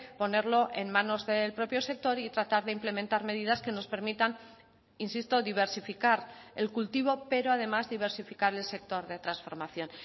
ponerlo en manos del propio sector y tratar de implementar medidas que nos permitan insisto diversificar el cultivo pero además diversificar el sector de transformación